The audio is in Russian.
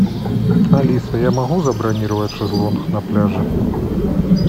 алиса я могу забронировать шезлонг на пляже